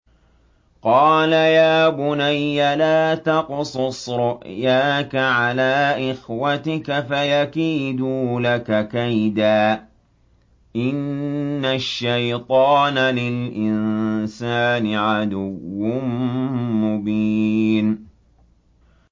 قَالَ يَا بُنَيَّ لَا تَقْصُصْ رُؤْيَاكَ عَلَىٰ إِخْوَتِكَ فَيَكِيدُوا لَكَ كَيْدًا ۖ إِنَّ الشَّيْطَانَ لِلْإِنسَانِ عَدُوٌّ مُّبِينٌ